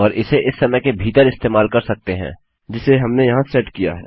और इसे इस समय के भीतर इस्तेमाल कर सकते हैं जिसे हमने यहाँ सेट किया है